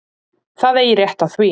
Það eigi rétt á því.